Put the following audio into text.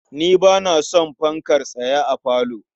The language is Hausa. Ni ba na son fankar tsaye a falo.